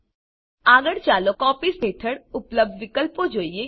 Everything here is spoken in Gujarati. આગળ ચાલો કોપીઝ હેઠળ ઉપલબ્ધ વિકલ્પો જોઈએ